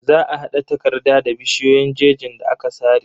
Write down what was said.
Za a hada takarda da bishiyoyin jejin da aka sare.